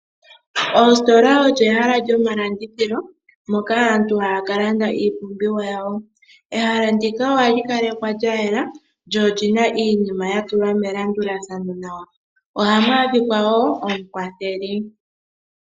Oositola olyo ehala lyomalandithilo moka aantu haya ka landa iipumbiwa yawo. Ehala ndika ohali kalekwa lyayela lyo olina iinima yatulwa melandulathano nawa . Ohamu adhika woo omukwatheli